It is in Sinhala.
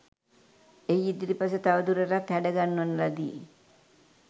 එහි ඉදිරිපස තවදුරටත් හැඩ ගන්වන ලදී.